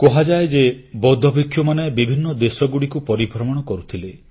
କୁହାଯାଏ ଯେ ବୌଦ୍ଧଭିକ୍ଷୁମାନେ ବିଭିନ୍ନ ଦେଶଗୁଡ଼ିକୁ ପରିଭ୍ରମଣ କରୁଥିଲେ